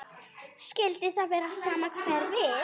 Skyldi það vera sama hverfið?